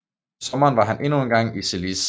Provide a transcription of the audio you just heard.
I sommeren var han endnu en gang i Zelis